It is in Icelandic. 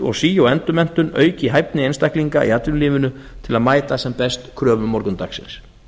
og sí og endurmenntun auki hæfni einstaklinga í atvinnulífinu til að mæta sem best kröfum morgundagsins